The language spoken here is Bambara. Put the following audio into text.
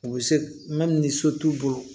U bɛ se ni so t'u bolo